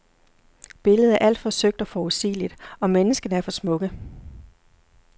Billedet er alt for søgt og forudsigeligt, og menneskene er for smukke.